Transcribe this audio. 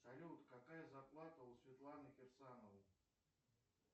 салют какая зарплата у светланы керсановой